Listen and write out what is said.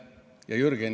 Aitäh!